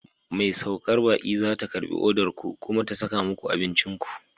Mai saukar baƙi za ta karɓi odar ku, kuma ta kasa muku abincin ku.